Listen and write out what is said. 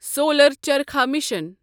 solar charkha mission